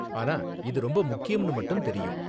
ஆனா, இது ரொம்ப முக்கியம்னு மட்டும் தெரியும்.